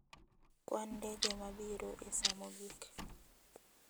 Kwan ndege ma biro e sa mogik.